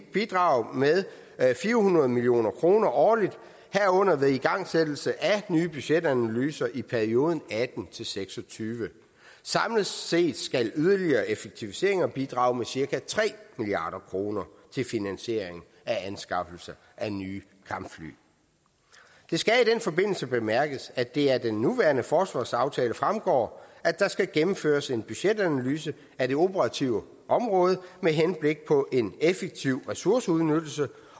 bidrage med fire hundrede million kroner årligt herunder ved igangsættelse af nye budgetanalyser i perioden og atten til seks og tyve samlet set skal yderligere effektiviseringer bidrage med cirka tre milliard kroner til finansiering af anskaffelse af nye kampfly det skal i den forbindelse bemærkes at det af den nuværende forsvarsaftale fremgår at der skal gennemføres en budgetanalyse af det operative område med henblik på en effektiv ressourceudnyttelse